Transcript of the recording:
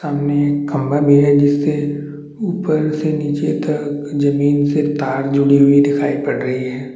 सामने एक खम्बा भी है जिसे ऊपर से नीचे तक जमींन पे तार जुड़ी हुई दिखाई पड़ रही है।